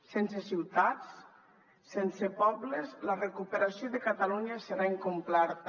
sense ciutats sense pobles la recuperació de catalunya serà incompleta